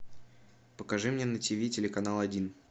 покажи мне на тв телеканал один